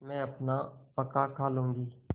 मैं अपना पकाखा लूँगी